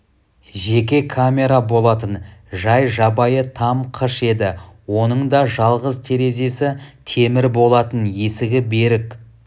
жеке камера болатын жай жабайы там қыш еді оның да жалғыз терезесі темір болатын есігі берік